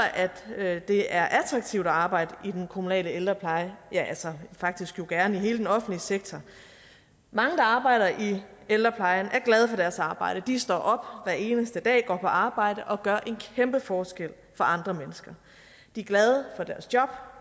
at det er attraktivt at arbejde i den kommunale ældrepleje ja altså faktisk jo gerne i hele den offentlige sektor mange der arbejder i ældreplejen er glade for deres arbejde de står op hver eneste dag går på arbejde og gør en kæmpe forskel for andre mennesker de er glade for deres job